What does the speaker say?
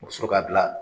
U bɛ sɔrɔ k'a bila